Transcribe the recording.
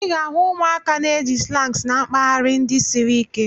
Ị ga-ahụ ụmụaka na-eji slangs na mpaghara ndị siri ike.